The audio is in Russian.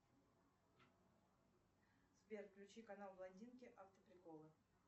сбер включи канал блондинки автоприколы